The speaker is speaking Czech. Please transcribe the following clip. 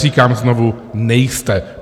Říkám znovu, nejste.